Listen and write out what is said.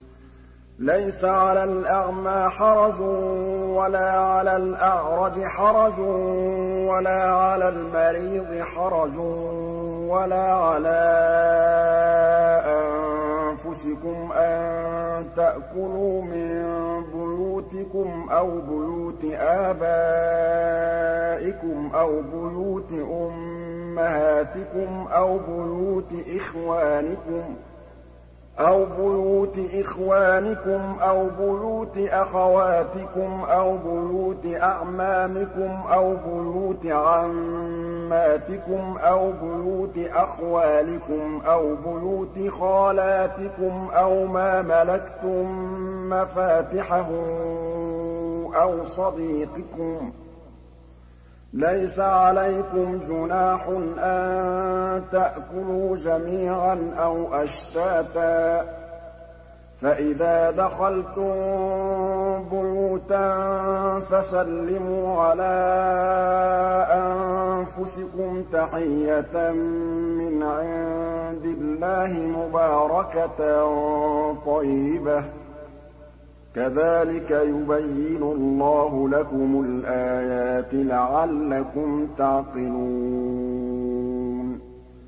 لَّيْسَ عَلَى الْأَعْمَىٰ حَرَجٌ وَلَا عَلَى الْأَعْرَجِ حَرَجٌ وَلَا عَلَى الْمَرِيضِ حَرَجٌ وَلَا عَلَىٰ أَنفُسِكُمْ أَن تَأْكُلُوا مِن بُيُوتِكُمْ أَوْ بُيُوتِ آبَائِكُمْ أَوْ بُيُوتِ أُمَّهَاتِكُمْ أَوْ بُيُوتِ إِخْوَانِكُمْ أَوْ بُيُوتِ أَخَوَاتِكُمْ أَوْ بُيُوتِ أَعْمَامِكُمْ أَوْ بُيُوتِ عَمَّاتِكُمْ أَوْ بُيُوتِ أَخْوَالِكُمْ أَوْ بُيُوتِ خَالَاتِكُمْ أَوْ مَا مَلَكْتُم مَّفَاتِحَهُ أَوْ صَدِيقِكُمْ ۚ لَيْسَ عَلَيْكُمْ جُنَاحٌ أَن تَأْكُلُوا جَمِيعًا أَوْ أَشْتَاتًا ۚ فَإِذَا دَخَلْتُم بُيُوتًا فَسَلِّمُوا عَلَىٰ أَنفُسِكُمْ تَحِيَّةً مِّنْ عِندِ اللَّهِ مُبَارَكَةً طَيِّبَةً ۚ كَذَٰلِكَ يُبَيِّنُ اللَّهُ لَكُمُ الْآيَاتِ لَعَلَّكُمْ تَعْقِلُونَ